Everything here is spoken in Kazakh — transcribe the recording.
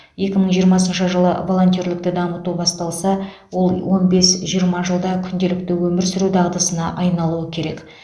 екі мың жиырмасыншы жылы волонтерлікті дамыту басталса ол он бес жиырма жылда күнделікті өмір сүру дағдысына айналуы керек